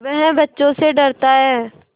वह बच्चों से डरता है